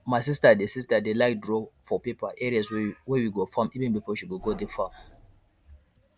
my sister dey sister dey like draw for paper areas wey we go farm even before she gogo the farm